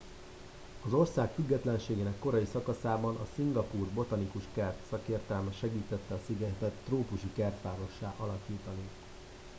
az ország függetlenségének korai szakaszában a szingapúr botanikus kert szakértelme segítette a szigetet trópusi kertvárossá átalakítani